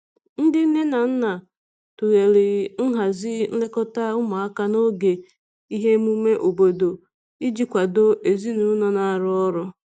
Ndị nne na nna tụlere nhazi nlekọta ụmụaka n'oge ihe emume obodo iji kwado ezinụlọ na arụ ọrụ.